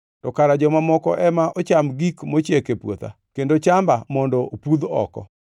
to kara joma moko ema ocham gik mochiek e puotha, kendo chamba mondo opudh oko.